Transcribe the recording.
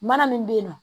Mana min bɛ yen nɔ